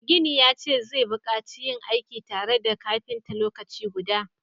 Mai gini ya ce zai bukaci yin aiki tare da kafinta lokaci guda